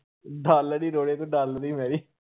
dollar ਈ ਰੋੜ੍ਹੇ ਤੂੰ dollar ਈ।